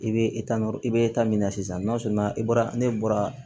I bɛ i bɛ min na sisan i bɔra ne bɔra